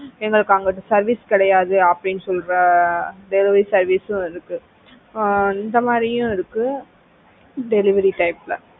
எங்களுக்கு அந்த service கிடையாது அப்படின்னு சொல்ற delivery service உம் ஆஹ் இருக்கு இந்த மாதிரியும் இருக்கு delivery type ல